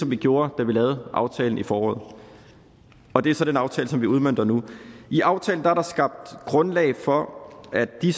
vi gjorde da vi lavede aftalen i foråret og det er så den aftale vi udmønter nu i aftalen er der skabt grundlag for at de